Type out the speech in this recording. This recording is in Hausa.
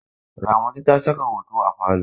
Ramatu ta saka hoto a falo.